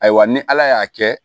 Ayiwa ni ala y'a kɛ